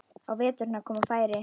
Á veturna koma færri.